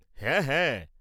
হ্যাঁ, হ্যাঁ।